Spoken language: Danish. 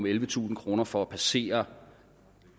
ellevetusind kroner for at passere